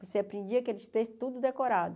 Você aprendia aqueles textos tudo decorado.